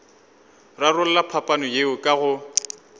rarolla phapano yeo ka go